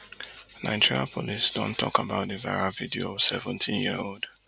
nigeria police don tok about di viral video of seventeen year old